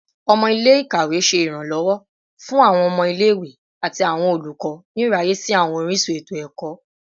Ọmọ ile-ikawe ṣe iranlọwọ fun awọn ọmọ ile-iwe ati awọn olukọ ni iraye si awọn orisun eto-ẹkọ